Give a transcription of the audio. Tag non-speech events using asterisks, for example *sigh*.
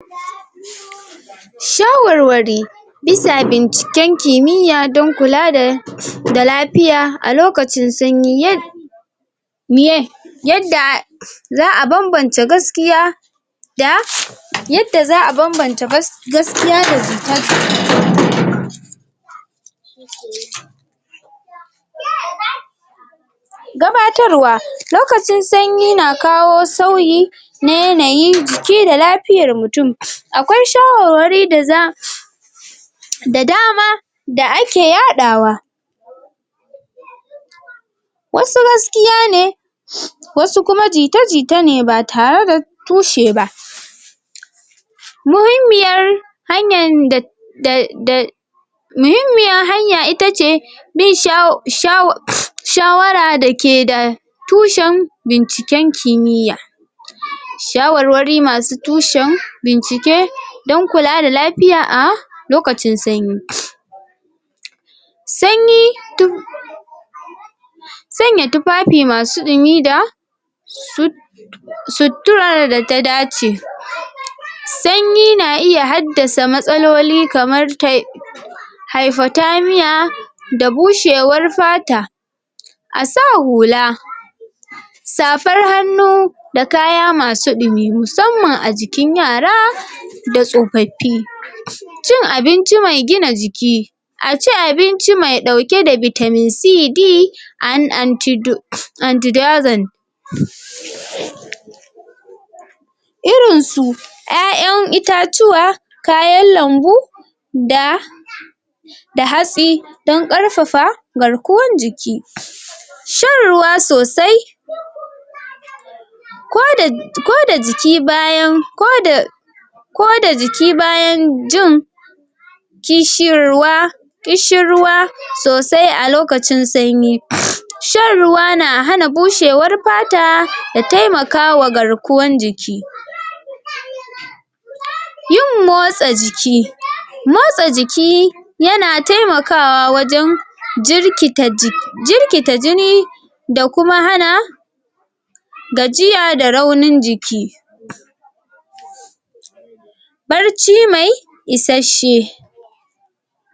Shawarwari bisa binciken kimiyya don kula da da lafiya a lokacin sanyi yad miye, yadda za'a bam-bance gaskiya da yadda za'a bam-banta gas gaskiya da *noise* *noise* Gabatarwa: Lokacin sanyi na kawo sauyi na yanayin jiki da lafiyar mutum. Akwai shawarwari da za da dama da ake yaɗawa wasu gaskiya ne wasu kuma jita-jita ne ba tare da tushe ba. Muhimmiyar hanyan da da da muhimmiyar hanya ita ce bin shawa shawa shawara da ke da tushen binciken kimiyya, shawarwari masu tushen bincike don kula da lafiya a lokacin sanyi. Sanyi du sanya tufafi masu dumi da su suturarar da ta dace. Sanyi na iya haddasa matsaloli kamar tai hypothermia da bushewar fata. A sa hula, safar hannu, da kaya masu ɗumi, musamman a jikin yara da tsofaffi. Cin abinci mai gina jiki a ci abinci mai ɗauke vitamin C, D and anti antido anti *noise* Irinsu ƴaƴan itatuwa, kayan lambu da da hatsi don ƙarfafa garkuwan jiki. Shan ruwa sosai koda koda jiki bayan koda koda jikin bayan jin kishirwa ƙishirwa sosai a lokacin sanyi shan ruwa na hana bushewar fata da taimakawa garkuwan jiki *noise* Yin motsa jiki, motsa jiki ya na taimakawa wajen jirkita ji jirkita jini da kuma hana gajiya da raunin jiki ɓarci mai isasshe.